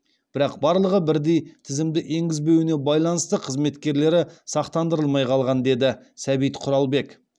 бірақ барлығы бірдей тізімді енгізбеуіне байланысты қызметкерлері сақтандырылмай қалған деді сәбит құралбек